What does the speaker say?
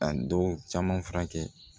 A dɔw caman furakɛ